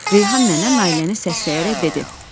Reyhan nənə Nailəni səsləyərək dedi: